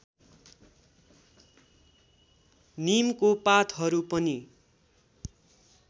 नीमको पातहरू पनि